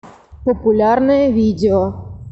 популярное видео